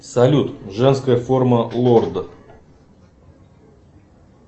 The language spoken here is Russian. салют женская форма лорда